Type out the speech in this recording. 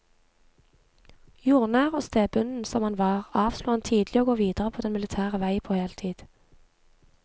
Jordnær og stedbunden som han var, avslo han tidlig å gå videre på den militære vei på heltid.